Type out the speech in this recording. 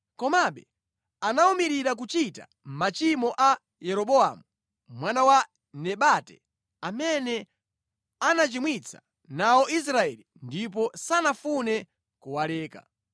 Komabe anawumirira kuchita machimo a Yeroboamu mwana wa Nebati, amene anachimwitsa nawo Israeli ndipo sanafune kuwaleka.